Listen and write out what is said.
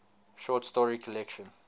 short story collection